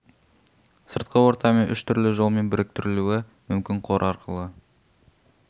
сыртқы ортамен үш түрлі жолмен біріктірілуі мүмкін қор арқылы